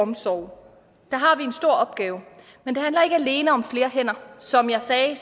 omsorg der har vi en stor opgave men det handler ikke alene om flere hænder som jeg sagde